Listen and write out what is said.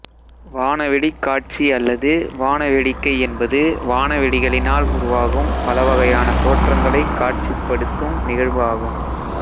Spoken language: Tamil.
வாணவெடிக் காட்சி அல்லது வாண வேடிக்கை என்பது வாணவெடிகளினால் உருவாகும் பலவகையான தோற்றங்களைக் காட்சிப்படித்தும் நிகழ்வு ஆகும்